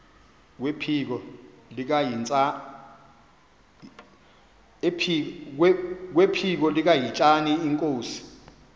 kwephiko likahintsathi inkosi